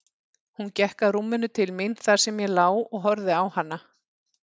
Hún gekk að rúminu til mín þar sem ég lá og horfði á hana.